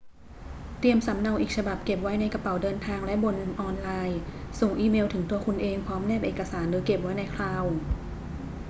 เตรียมสำเนาอีกฉบับเก็บไว้ในกระเป๋าเดินทางและบนออนไลน์ ส่งอีเมลถึงตัวคุณเองพร้อมแนบเอกสาร หรือเก็บไว้ใน คลาวด์"